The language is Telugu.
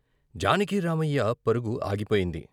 జానకిరామయ్య పరుగు ఆగిపోయింది.